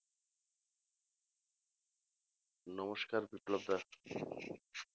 নমস্কার বিপ্লব দা